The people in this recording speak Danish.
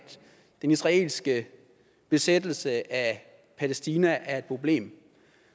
den israelske besættelse af palæstina er et problem